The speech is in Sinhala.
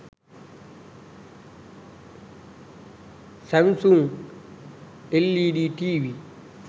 samsung led tv